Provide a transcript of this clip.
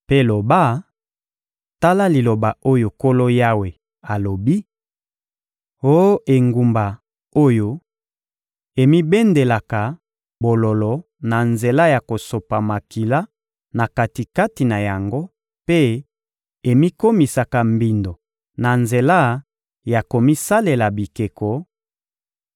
mpe loba: ‹Tala liloba oyo Nkolo Yawe alobi: Oh engumba oyo emibendelaka bololo na nzela ya kosopa makila na kati-kati na yango mpe emikomisaka mbindo na nzela ya komisalela bikeko,